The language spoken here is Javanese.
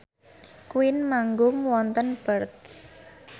Queen manggung wonten Perth